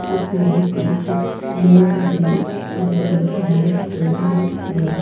इसमें कुछ लोग भी नजर आ रहे हैं।